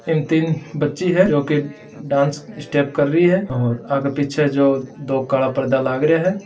इन तीन बच्ची है जो के डांस स्टेप कर रही है और आगे पीछे जो दो कला पर्दा लागरिया है।